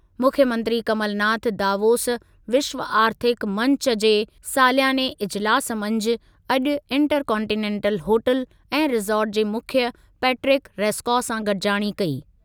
मुख्यमंत्री कमल नाथ दावोस विश्व आर्थिक मंचु जे सालियाने इजिलासु मंझि अॼु इंटर कांटिनेंटल होटेल ऐं रिसॉर्ट जे मुख्यु पेट्रिक सेस्कॉ सां गॾिजाणी कई।।